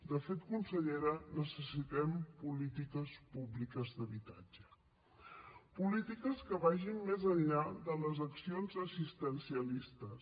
de fet consellera necessitem polítiques públiques d’habitatge polítiques que vagin més enllà de les accions assistencialistes